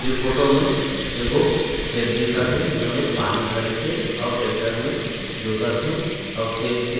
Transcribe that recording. ये फोटो में एगो खेत दिखत हे जेमे पानी भरिश हे आऊ ट्रेक्टर में जोतत हे आऊ खेत के--